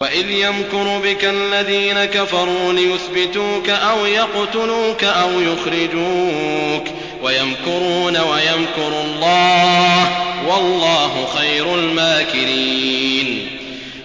وَإِذْ يَمْكُرُ بِكَ الَّذِينَ كَفَرُوا لِيُثْبِتُوكَ أَوْ يَقْتُلُوكَ أَوْ يُخْرِجُوكَ ۚ وَيَمْكُرُونَ وَيَمْكُرُ اللَّهُ ۖ وَاللَّهُ خَيْرُ الْمَاكِرِينَ